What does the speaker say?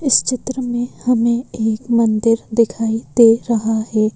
इस चित्र में हमें एक मंदिर दिखाई दे रहा है।